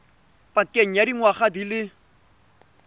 pakeng ya dingwaga di le